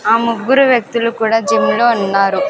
ఆ ముగ్గురు వ్యక్తులు కూడా జిమ్ లో ఉన్నారు.